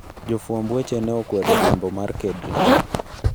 Jofwamb weche ne okwedo riembo mar Kedric.